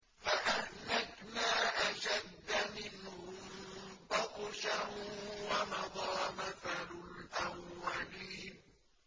فَأَهْلَكْنَا أَشَدَّ مِنْهُم بَطْشًا وَمَضَىٰ مَثَلُ الْأَوَّلِينَ